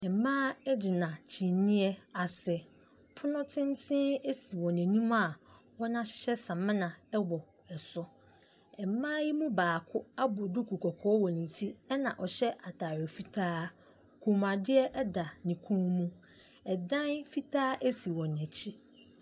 Mmaa ɛgyina kyiniiɛ asi, pono tenten asi wɔn anim a wɔn ahyehyɛ samina ɛwɔ ɛso. Mma yi mo baako abɔ duku kɔkɔɔ ɛwɔ ne te ɛna ɔhyɛ ataare fitaa kɔnmuadeɛ ɛda ne kɔn mu. ɛdan fitaa asi wɔn akyi.